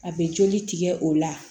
A bɛ joli tigɛ o la